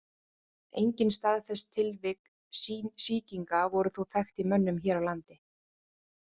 Engin staðfest tilvik sýkinga voru þó þekkt í mönnum hér á landi.